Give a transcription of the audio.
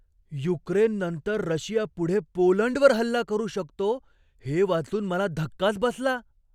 युक्रेननंतर Russia पुढे पोलंडवर हल्ला करू शकतो हे वाचून मला धक्काच बसला.